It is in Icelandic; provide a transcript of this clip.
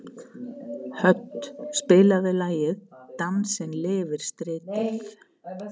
Hödd, spilaðu lagið „Dansinn lifir stritið“.